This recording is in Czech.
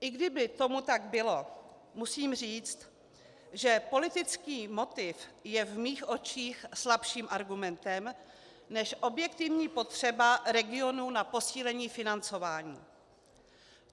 I kdyby tomu tak bylo, musím říct, že politický motiv je v mých očích slabším argumentem než objektivní potřeba regionů na posílení financování.